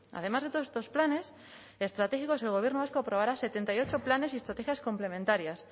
además de todos estos planes estratégicos el gobierno vasco aprobará setenta y ocho planes y estrategias complementarias